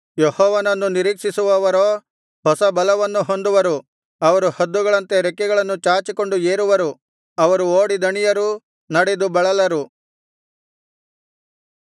ಯೆಹೋವನನ್ನು ನಿರೀಕ್ಷಿಸುವವರೋ ಹೊಸ ಬಲವನ್ನು ಹೊಂದುವರು ಅವರು ಹದ್ದುಗಳಂತೆ ರೆಕ್ಕೆಗಳನ್ನು ಚಾಚಿಕೊಂಡು ಏರುವರು ಅವರು ಓಡಿ ದಣಿಯರು ನಡೆದು ಬಳಲರು